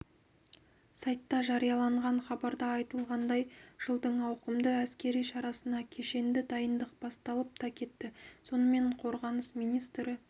сайтта жарияланған хабарда айтылғандай жылдың ауқымды әскери шарасына кешенді дайындық басталып та кетті сонымен қорғаныс министрі